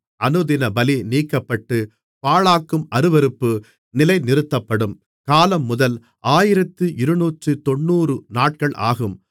அனுதினபலி நீக்கப்பட்டு பாழாக்கும் அருவருப்பு நிலைநிறுத்தப்படும் காலம்முதல் ஆயிரத்து இருநூற்றுத் தொண்ணூறு நாட்கள் ஆகும்